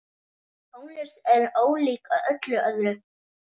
Tónlist er ólík öllu öðru.